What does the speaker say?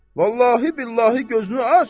Vallahi billahi gözünü aç,